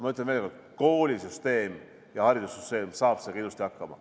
Ma ütlen veel kord, et koolisüsteem ja haridussüsteem saab sellega ilusti hakkama.